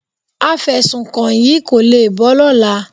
Afẹ̀sùnkàn yìí kò le bọ́ lọ́la.